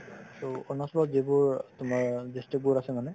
to অৰুণাচলত যিবোৰ তোমাৰ district বোৰ আছে মানে